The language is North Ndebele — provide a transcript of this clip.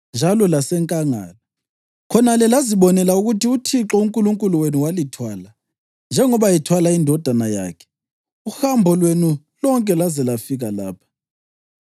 njalo lasenkangala. Khonale lazibonela ukuthi uThixo uNkulunkulu wenu walithwala, njengobaba ethwala indodana yakhe, uhambo lwenu lonke laze lafika lapha.’